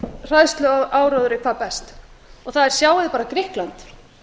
hræðsluáróðri hvað best og það er sjáið bara grikkland